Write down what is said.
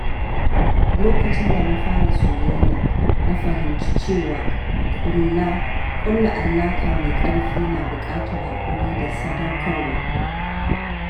Lokacin da na fara soyayya, na fahimci cewa ƙulla alaƙa mai ƙarfi na buƙatar haƙuri da sadaukarwa.